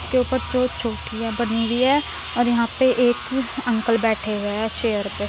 उसके ऊपर चो चो बनीं हुई है और यहाँ पे एक अंकल बैठे हुए है चेयर पे |